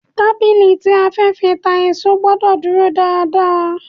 Tábìlì tí a fẹ́ fi ta èso gbọ́dọ̀ dúró dáa dáa.